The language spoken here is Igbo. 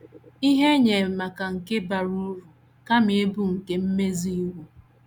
Ihe Enyemaka nke Bara Uru Kama Ịbụ nke Mmezu Iwu